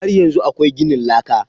Har yanzu akwai gidan laka?